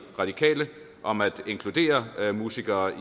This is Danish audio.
radikale om at inkludere musikere